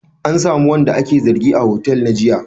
An samu wanda ake zargi a hotel na giya?